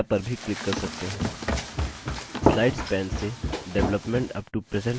slides pane से development up to present slide चुनें